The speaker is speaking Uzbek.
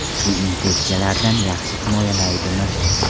Bu infeksiyalardan yaxshi himoyalaydimi ?